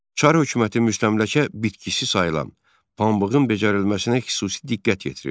Çar hökuməti müstəmləkə bitkisi sayılan pambığın becərilməsinə xüsusi diqqət yetirirdi.